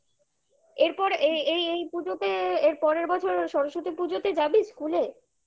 এরপর এই এই পুজোতে এর পরের বছর সরস্বতী পুজোতে যাবি school -এ?